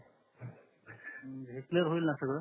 clear होईल न सगळं